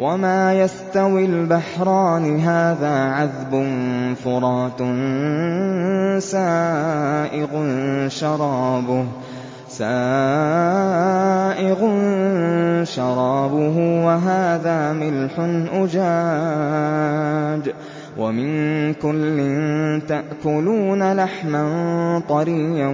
وَمَا يَسْتَوِي الْبَحْرَانِ هَٰذَا عَذْبٌ فُرَاتٌ سَائِغٌ شَرَابُهُ وَهَٰذَا مِلْحٌ أُجَاجٌ ۖ وَمِن كُلٍّ تَأْكُلُونَ لَحْمًا طَرِيًّا